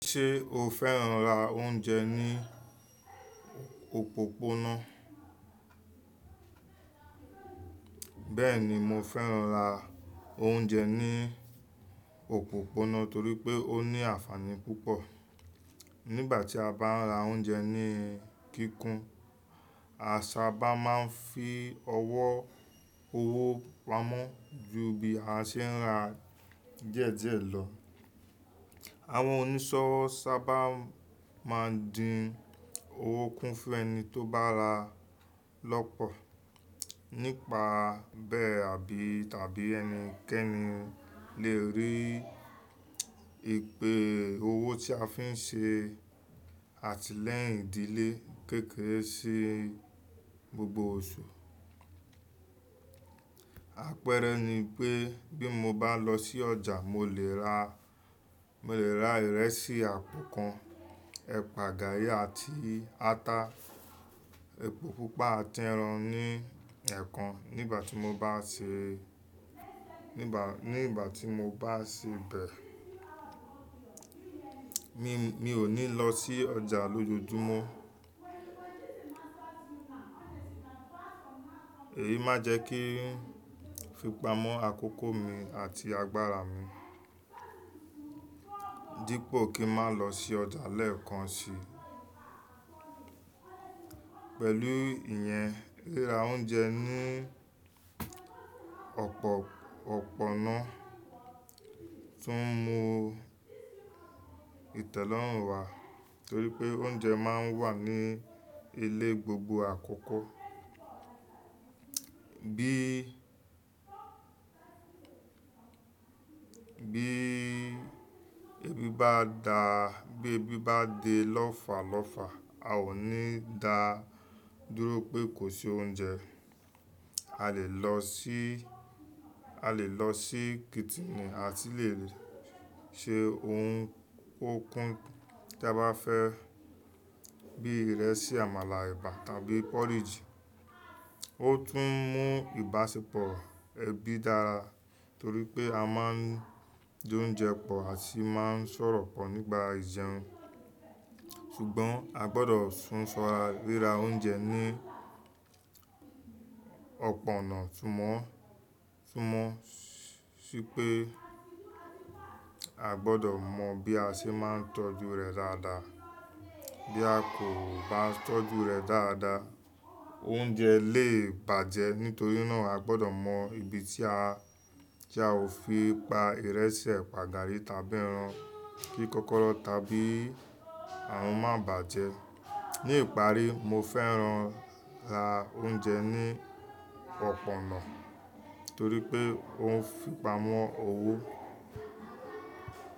Ṣé o fẹ́ràn ra oúnjẹ ní òpópónà? Bẹ́ẹ̀ni, mo fẹ́ràn ra oúnjẹ ní òpópónà torí pé ó ní ànfàní púpọ̀. Nígbà tí a bá ń ra oúnjẹ ní kíkún, a sábà máa ń fi ọwọ́ owó pa mọ́ ju bí a ṣe ń ra díẹ̀díẹ̀ lọ. Àwọn oníṣọ́wọ́ sábà máa ń dín owó kún fún ẹni tó bá ra lọ́pọ̀. Nípa bẹ́ẹ̀ àbí tàbí ẹnikẹ́ni lè rí ìpè owó tí a fi ń ṣe àtìlẹ́yìn ìdílé kéékèèké sí gbogbo oṣù. Àpẹẹrẹ ni pé bí mo bá lọ sí ọjà, mo lè ra, mo lè ra ìrẹsì àpò kan, ẹ̀pà gàrí àti ata epo púpà àti ẹran ní ẹẹ́kan nígbà tí mo bá ṣe, nígba, nígbà tí mo bá ṣe bẹ́ẹ̀, mi ò ní lọ sí ọjà lójoojúmọ́. Èyí máa jẹ́ kí ìfipamọ́ àkókò mi àti agbára mi. Dípò kí ń máa lọ sí ọjà lẹ́ẹ̀kan si. Pẹ̀lú ìyẹn ríra oúnjẹ ní ọ̀pọ̀ ọ̀pọ̀ náà tún mú ìtẹ́lọ́rùn wá torí pé oúnjẹ máa ń wà ní ilé gbogbo àkókò. Bí, bí ebi bá dá, bí ebi bá de lọ́falọ́fa, a ò ní dá dúró pé kò sí oúnjẹ. A lè lọ sí, a lè lọ sí kítìnì àti lè se ohun okùn tí a bá fẹ́ bí ìrẹsì, àmàlà, ẹ̀bà tàbí porridge. Ó tún mú ìbáṣepọ̀ ẹbí dára torí pé a máa ń jẹ oúnjẹ pọ̀ àti máa ń sọ̀rọ̀ pọ̀ nígbà ìjẹun. Ṣùgbọ́n a gbọdọ̀ tún ṣọra ríra oúnjẹ ní ọ̀pọ̀ náà túmọ́, túmọ́ sí pé a gbọdọ mọ bí a ṣe máa ń tọ́jú rẹ̀ dáadáa. Bí a kò bá tọ́jú rẹ̀ dáadáa, oúnjẹ lè bàjẹ́. Nítorí náà a gbọdọ mọ ibi tí a, tí a ó fi pa ìrẹsì, ẹ̀pà, gàrí tàbí ẹran kí kókóró tàbí àwọn má bàjẹ́. Ní ìparí, mo fẹ́ràn ra oúnjẹ ní ọ̀pọ̀ ọ̀nà torí pé ó ń fipamọ́ owó.